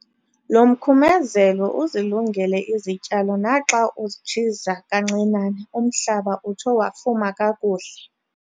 Lo mkhumezelo uzilungele izityalo naxa utshiza kancinane umhlaba utsho wafuma kakuhle.